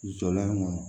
Jɔlan kɔnɔ